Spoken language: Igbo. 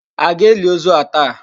A ga-eli ozu a taa?